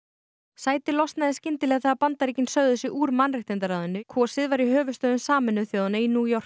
sætið losnaði skyndilega þegar Bandaríkin sögðu sig úr mannréttindaráðinu kosið var í höfuðstöðvum Sameinuðu þjóðanna í